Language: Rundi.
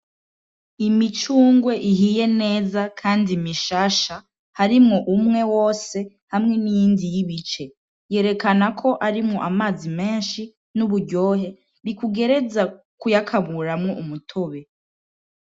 Imicungwe ihiye neza kandi mishasha harimwo umwe wose hamwe n'iyindi yibice yerekana ko arimwo amazi menshi n'uburyohe bikugereza kuyakamuramwo umutobe